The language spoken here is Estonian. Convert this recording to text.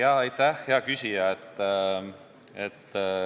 Aitäh, hea küsija!